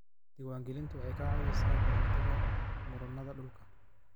Diiwaangelintu waxay ka caawisaa ka hortagga murannada dhulka.